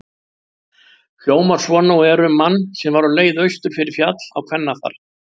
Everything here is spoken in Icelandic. Hljómar svona og er um mann sem var á leið austur fyrir Fjall á kvennafar